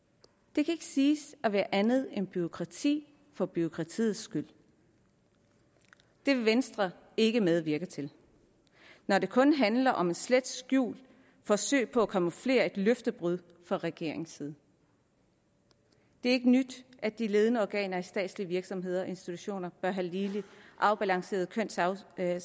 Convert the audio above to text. det kan ikke siges at være andet end bureaukrati for bureaukratiets skyld det vil venstre ikke medvirke til når det kun handler om et slet skjult forsøg på at camouflere et løftebrud fra regeringens side det er ikke nyt at de ledende organer i statslige virksomheder og institutioner bør have ligelig afbalanceret kønssammensætning